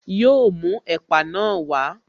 Yọ mú ẹ̀pà na wá